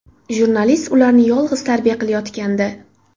Jurnalist ularni yolg‘iz tarbiya qilayotgandi.